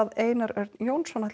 Einari Erni Jónssyni